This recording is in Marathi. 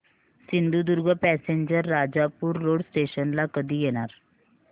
Sindhudurg passenger Rajapur road station ला कधी येणार